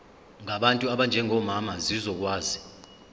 ngabantu abanjengomama zizokwazi